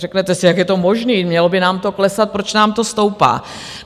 Řeknete si, jak je to možné, mělo by nám to klesat, proč nám to stoupá?